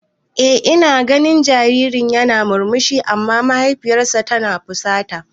Eh ina ganin jaririn yana murmushi amma mahaifiyar ta fusata.